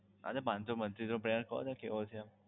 અરે પાંચ સો પચ્ચીસનો plan નું કહો ને કેવો છે એમ